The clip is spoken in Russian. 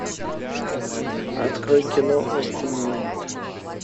открой кино остинленд